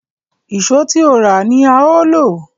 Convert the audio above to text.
Ìṣó tí ó rà ni a ó lò